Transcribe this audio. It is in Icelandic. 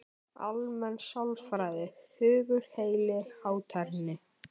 Almenn sálfræði: Hugur, heili, hátterni.